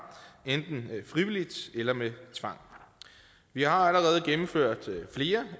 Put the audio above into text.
enten frivilligt eller med tvang vi har allerede gennemført flere